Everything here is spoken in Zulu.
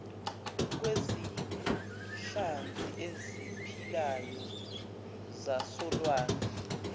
kwezinhlanzi eziphilayo zasolwandle